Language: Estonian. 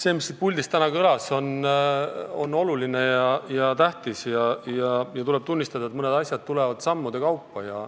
See, mis siit puldist täna kõlas, on oluline, tähtis ja tuleb tunnistada, et mõned asjad tulevad sammude kaupa.